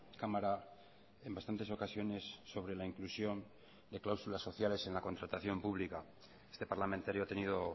cámara en bastantes ocasiones sobre la inclusión de cláusulas sociales en la contratación pública este parlamentario ha tenido